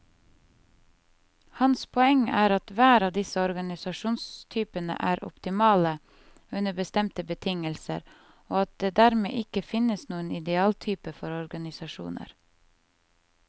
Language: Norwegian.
Hans poeng er at hver av disse organisasjonstypene er optimale under bestemte betingelser, og at det dermed ikke finnes noen idealtype for organisasjoner.